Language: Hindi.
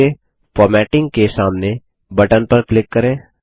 और नीचे फॉर्मेटिंग के सामने बटन पर क्लिक करें